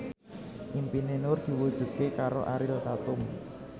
impine Nur diwujudke karo Ariel Tatum